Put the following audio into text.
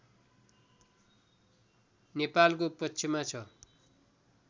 नेपालको पक्षमा छ